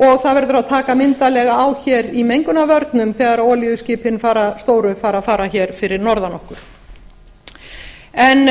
og það verður að taka myndarlega á hér í mengunarvörnum þegar olíuskipin stóru fara að fara hér fyrir norðan okkur en